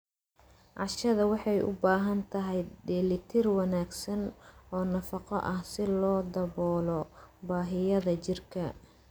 Cashada waxay u baahan tahay dheellitir wanaagsan oo nafaqo ah si loo daboolo baahiyaha jirka.